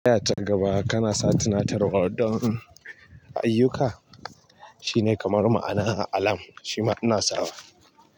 Da ya ta gaba kana sa tunatarwar don ayyuka, shine kamar ma'ana alam shima ina sawa.